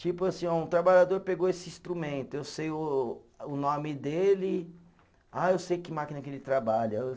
Tipo assim, um trabalhador pegou esse instrumento, eu sei o o nome dele, ah eu sei que máquina que ele trabalha.